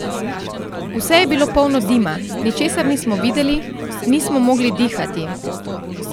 Vse je bilo polno dima, ničesar nismo videli, nismo mogli dihati.